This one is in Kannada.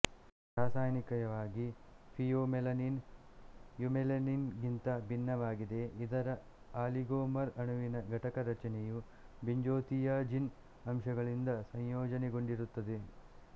ರಾಸಾಯನಿಕವಾಗಿ ಫಿಯೋಮೆಲನಿನ್ ಯುಮೆಲನಿನ್ ಗಿಂತ ಭಿನ್ನವಾಗಿದೆ ಇದರ ಆಲಿಗೋಮರ್ ಅಣುವಿನ ಘಟಕರಚನೆಯು ಬೆಂಜೋತಿಯಜಿನ್ ಅಂಶಗಳಿಂದ ಸಂಯೋಜನೆಗೊಂಡಿರುತ್ತದೆ